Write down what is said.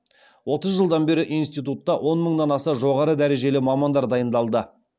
отыз жылдан бері институтта он мыңнан аса жоғары дәрежелі мамандар дайындалды